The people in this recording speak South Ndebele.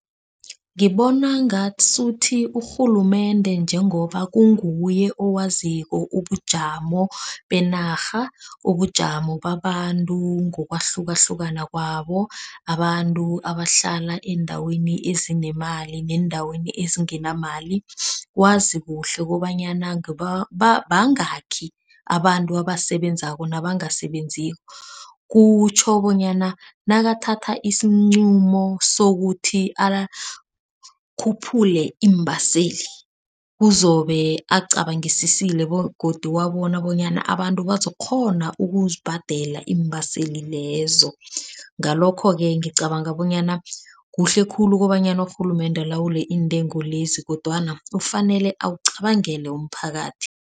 Ngibona ngasuthi urhulumende njengoba kunguye owaziko ubujamo benarha, ubujamo babantu ngokwahlukahlukana kwabo. Abantu abahlala eendaweni ezinemali neendaweni ezingenamali. Wazi kuhle kobanyana bangakhi abantu abasebenzako nabangasebenziko. Kutjho bonyana nakathatha isinqumo sokuthi akhuphula iimbaseli uzobe acabangisisile begodu wabona bonyana abantu bazokukghona ukuzibhadela iimbaseli lezo. Ngalokho-ke ngicabanga bonyana kuhle khulu kobanyana urhulumende alawule intengo lezi kodwana kufanele acabangele umphakathi.